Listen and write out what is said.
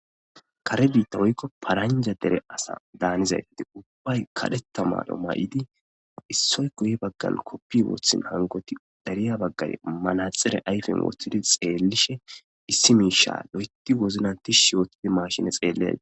Kare bitta woykon paranja malizayti ubbay karetha mayo mayidi issoy guye bagara kofiya wothin dariza bagati manaxire ayifen wothidi xellishe issi misha loythi wozinan tishi otidi mashine xelles